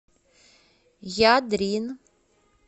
ядрин